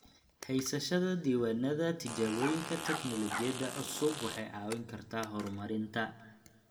Haysashada diiwaannada tijaabooyinka tignoolajiyada cusub waxay caawin kartaa horumarinta.